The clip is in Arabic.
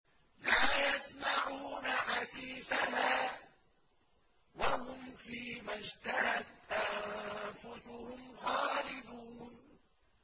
لَا يَسْمَعُونَ حَسِيسَهَا ۖ وَهُمْ فِي مَا اشْتَهَتْ أَنفُسُهُمْ خَالِدُونَ